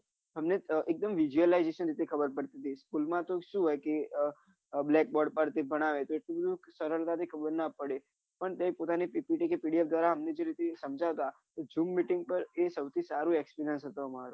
હમને એકદમ ખબર પડતી હતી school માં તો શું હોય કે આહ black board પર કઇક ભણાવે તો સરળતા થી ખબર નાં પડે પણ pdf દ્વારા અમને જે ઇ તે સમજાવતા એ જૂની meeting પર એ સૌથી સારી હતો અમારો